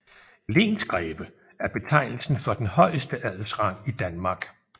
Lensgreve er betegnelsen for den højeste adelsrang i Danmark